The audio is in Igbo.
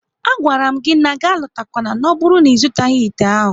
A gwara m gị na gị alotakwana n'oburu na-izutaghi ite ahụ!